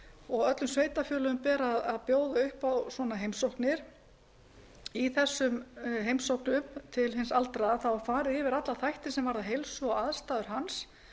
og öllum sveitarfélögum ber að bjóða upp á svona heimsóknir í öllum heimsókn til hins aldraða er farið yfir alla þætti sem varða heilsu og aðstæður hans